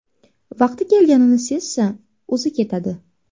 Vaqti kelganini sezsa, o‘zi ketadi.